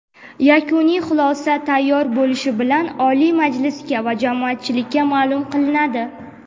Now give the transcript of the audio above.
Yakuniy xulosa tayyor bo‘lishi bilan Oliy Majlisga va jamoatchilikka maʼlum qilinadi.